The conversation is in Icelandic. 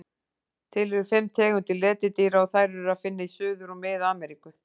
Til eru fimm tegundir letidýra og þær er að finna í Suður- og Mið-Ameríku.